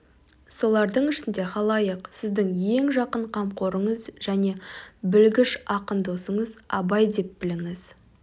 солардың ішінде халайық сіздің ең жақын қамқорыңыз және білгіш ақын досыңыз абай деп біліңіз